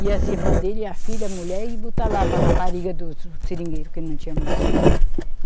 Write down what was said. e as irmã dele, e a filha, a mulher, e botar lá para rapariga dos seringueiro, que não tinha mulher.